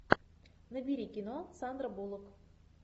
набери кино сандра буллок